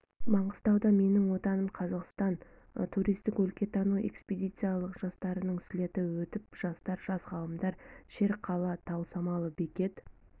маңғыстауда менің отаным қазақстан туристік-өлкетану экспедициялық жасақтарының слеті өтіп жатыр жас ғалымдар шерқала тау самалы бекет